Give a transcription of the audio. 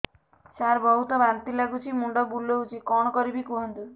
ସାର ବହୁତ ବାନ୍ତି ଲାଗୁଛି ମୁଣ୍ଡ ବୁଲୋଉଛି କଣ କରିବି କୁହନ୍ତୁ